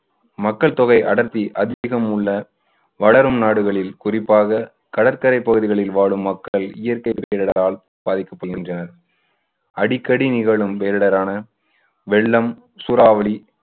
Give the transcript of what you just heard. மக்கள் தொகை அடர்த்தி அதிகம் உள்ள வளரும் நாடுகளில் குறிப்பாக கடற்கரை பகுதிகளில் வாழும் மக்கள் இயற்கை பேரிடரால் பாதிக்கப்படுகின்றனர். அடிக்கடி நிகழும் பேரிடரான வெள்ளம், சூறாவளி